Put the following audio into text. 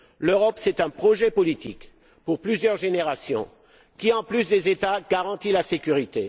L'Europe, c'est un projet politique pour plusieurs générations qui, en plus des États, garantit la sécurité.